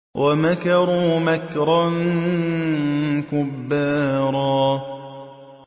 وَمَكَرُوا مَكْرًا كُبَّارًا